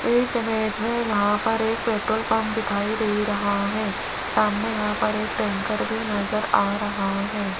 इस इमेज में यहां पर एक पेट्रोल पंप दिखाई दे रहा है सामने यहां पर एक टैंकर भी नजर आ रहा है।